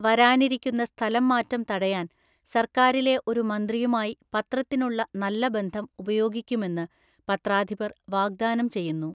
വരാനിരിക്കുന്ന സ്ഥലംമാറ്റം തടയാൻ സർക്കാരിലെ ഒരു മന്ത്രിയുമായി പത്രത്തിനുള്ള നല്ല ബന്ധം ഉപയോഗിക്കുമെന്ന് പത്രാധിപര്‍ വാഗ്ദാനം ചെയ്യുന്നു.